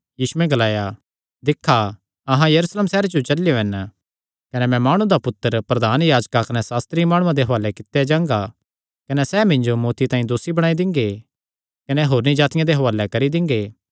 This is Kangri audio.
यीशुयैं ग्लाया दिक्खा अहां यरूशलेम सैहरे जो चलेयो हन कने मैं माणु दा पुत्तर प्रधान याजकां कने सास्त्री माणुआं दे हुआलैं कित्ता जांगा कने सैह़ तिसियो मौत्ती दा दोसी ठैहराई दिंगे कने होरनी जातिआं दे हुआले करी दिंगे